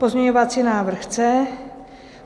Pozměňovací návrh C.